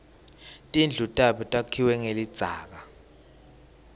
tindlu tabo takhiwe ngelidzaka